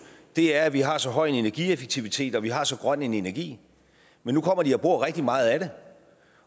er at vi har så høj en energieffektivitet og vi har så grøn en energi men nu kommer de og bruger rigtig meget af det